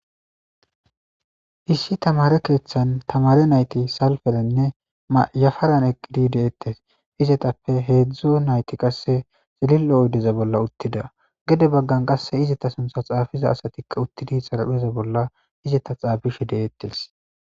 Issi tamare keeththan tamare nayti salferenne mayafaran eqqidi deettes izetappe heedzdzo nayti qasse xilil7o oydeza bolla uttida gede baggan qasse izeta suntha xaafiza asatikka uttidi xarapheza bolla izeta xaabish deettes